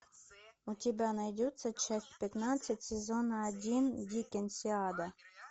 у тебя найдется часть пятнадцать сезона один диккенсиана